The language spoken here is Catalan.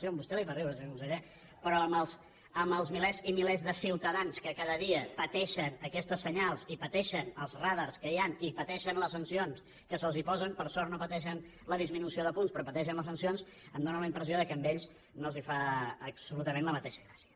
sí a vostè li fa riure senyor conseller però amb els milers i milers de ciutadans que cada dia pateixen aquests senyals i pateixen els radars que hi han i pateixen les sancions que se’ls posen per sort no pateixen la disminució de punts però pateixen les sancions em fa la impressió que a ells no els fa absolutament la mateixa gràcia